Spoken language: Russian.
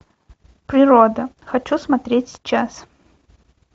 природа хочу смотреть сейчас